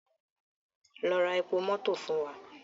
Lọ ra epo mọto fun wa!